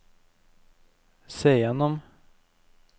se gjennom